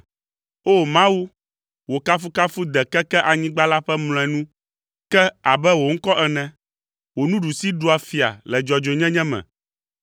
O! Mawu, wò kafukafu de keke anyigba la ƒe mlɔenu ke abe wò ŋkɔ ene. Wò nuɖusi ɖua fia le dzɔdzɔenyenye me.